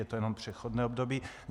Je to jenom přechodné období.